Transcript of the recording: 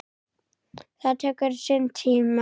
Það tekur sinn tíma.